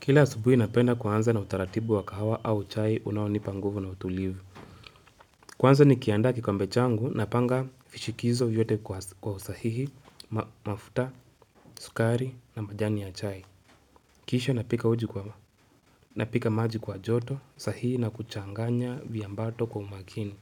Kila asubuhi napenda kuanza na utaratibu wa kahawa au chai unaonipa nguvu na utulivu kuanza nikiandaa kikombe changu na panga vishikizo vyote kwa usahihi, mafuta, sukari na majani ya chai Kisha napika uji kwa na pika maji kwa joto sahihi na kuchanganya vya mbato kwa umakini